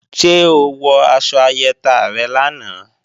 Ṣé o wọ aṣọ ayẹta rẹ lánàá?